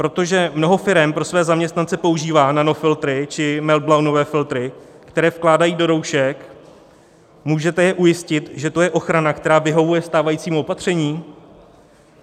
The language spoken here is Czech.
Protože mnoho firem pro své zaměstnance používá nanofiltry či meltblownové filtry, které vkládají do roušek, můžete je ujistit, že to je ochrana, která vyhovuje stávajícímu opatření?